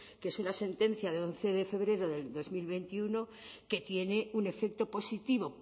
que es una sentencia de once de febrero de dos mil veintiuno que tiene un efecto positivo